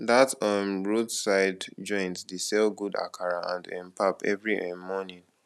dat um roadside joint dey sell good akara and um pap every um morning